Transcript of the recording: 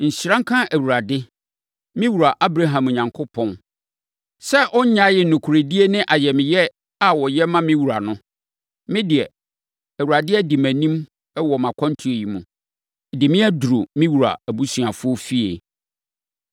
“Nhyira nka Awurade, me wura Abraham Onyankopɔn, sɛ ɔnnyaee nokorɛdie ne ayamyɛ a ɔyɛ ma me wura no. Me deɛ, Awurade adi mʼanim wɔ mʼakwantuo yi mu, de me abɛduru me wura abusuafoɔ fie.”